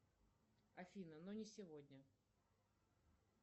афина но не сегодня